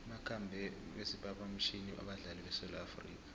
bakhambe ngesiphaphamtjhini abadlali besewula afrika